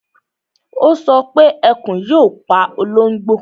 Ó sọ pé Ẹkùn yóò pa ológbò